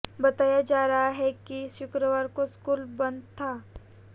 बताया जा रहा है कि शुक्रवार को स्कूल बंद था